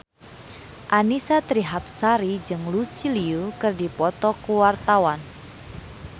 Annisa Trihapsari jeung Lucy Liu keur dipoto ku wartawan